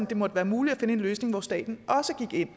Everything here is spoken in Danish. det måtte være muligt at finde en løsning hvor staten også gik ind